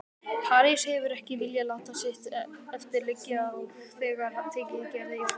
París hefur ekki viljað láta sitt eftir liggja og þegar tekið Gerði í fóstur.